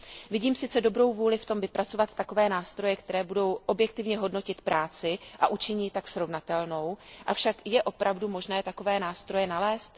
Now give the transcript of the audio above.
Vidím sice dobrou vůli ve vypracování takových nástrojů, které budou objektivně hodnotit práci a učiní ji tak srovnatelnou, avšak je opravdu možné takové nástroje nalézt?